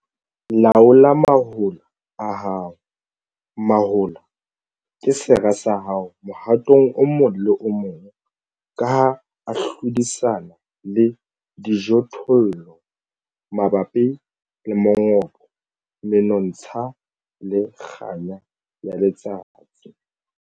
Laola mahola a hao, mahola ke sera sa hao mohatong o mong le o mong ka ha a hlodisana le dijothollo mabapi le mongobo, menontsha le kganya ya letsatsi.